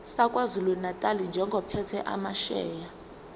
sakwazulunatali njengophethe amasheya